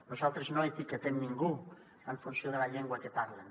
nosaltres no etiquetem ningú en funció de la llengua que parlen